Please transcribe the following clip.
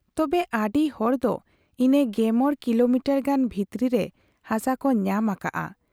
ᱛᱚᱵᱮ, ᱟᱰᱤ ᱦᱚᱲ ᱫᱚ ᱤᱱᱟᱹ ᱜᱮᱢᱚᱬ ᱠᱤᱞᱚᱢᱤᱴᱟᱨ ᱜᱟᱱ ᱵᱷᱤᱛᱨᱤ ᱨᱮ ᱦᱟᱥᱟ ᱠᱚ ᱧᱟᱢ ᱟᱠᱟᱫ ᱟ ᱾